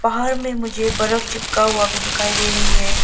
पहाड़ में मुझे बर्फ चिपका हुआ भी दिखाई दे रही है।